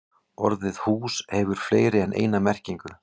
Orðið hús hefur fleiri en eina merkingu.